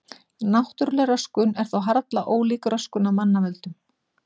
Náttúrleg röskun er þó harla ólík röskun af mannavöldum.